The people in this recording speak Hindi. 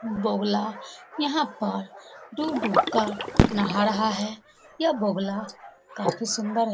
बगुला यहाँ पर डूब-डूब कर नहा रहे है। यह बगुला काफी सुंदर है।